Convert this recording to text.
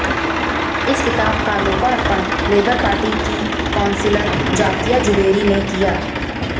इस किताब का लोकार्पण लेबर पार्टी की कौंसिलर जाकिया जुबैरी ने किया